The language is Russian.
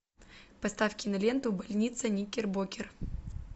поставь киноленту больница никербокер